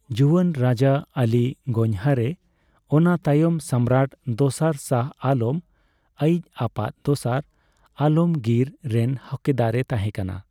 ᱡᱩᱣᱟᱹᱱ ᱨᱟᱡᱟ ᱟᱹᱞᱤ ᱜᱚᱧᱦᱚᱨ, ᱚᱱᱟ ᱛᱟᱭᱚᱢ ᱥᱚᱢᱨᱟᱴ ᱫᱚᱥᱟᱨ ᱥᱟᱦᱚ ᱟᱞᱚᱢ, ᱟᱹᱭᱤᱡ ᱟᱯᱟᱛ ᱫᱚᱥᱟᱨ ᱟᱞᱚᱢᱜᱤᱨ ᱨᱮᱱ ᱦᱚᱠᱫᱟᱨᱮ ᱛᱟᱦᱮ ᱠᱟᱱᱟ